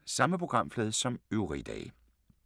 Samme programflade som øvrige dage